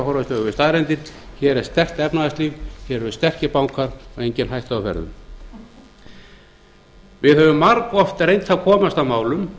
augu við staðreyndir hér er sterkt efnahagslíf hér eru sterkir bankar og engin hætta á ferðum við höfum margoft reynt að komast að málum